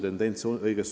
Tendents on õige.